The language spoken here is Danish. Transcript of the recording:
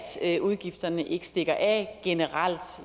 at udgifterne ikke stikker af generelt